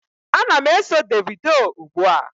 Ana m eso Davido ugbua.